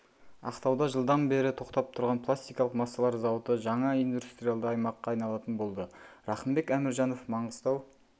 ақтауда жылдан бері тоқтап тұрған пластикалық массалар зауыты жаңа индустриялды аймаққа айналатын болды рақымбек әміржанов маңғыстау